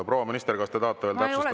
Proua minister, kas te tahate veel täpsustada?